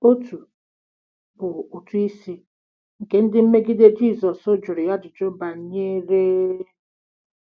Otu bụ “ụtụ isi” nke ndị mmegide Jizọs jụrụ ya ajụjụ banyere..